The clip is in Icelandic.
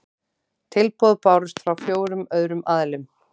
Tilboð bárust frá fjórum öðrum aðilum